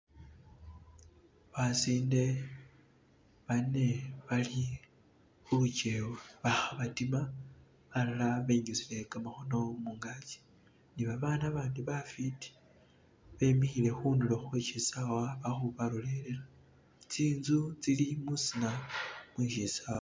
basinde bane bali huluchewa baha batima balala benyusile kamahono mungachi nibabana bandi bafiti bemihile hundulo hweshi sawa bahu balolera tsinzu tsili mwisina mweshisawa